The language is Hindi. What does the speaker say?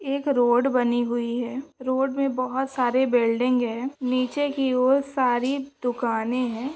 एक रोड बनी हुए है। रोड मे बहुत सारे बिल्डिंग है। नीचे की और सारी दुकाने है।